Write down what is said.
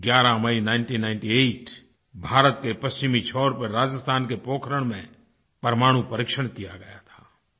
11 मई 1998 भारत के पश्चिमी छोर पर राजस्थान के पोखरण में परमाणु परीक्षण किया गया था